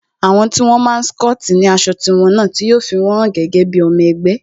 Àwọn tí wón máa n scoti ni aṣọ tí wón náà, tí yo fi won gẹ́gẹ́ bí ọmọ ẹgbẹ́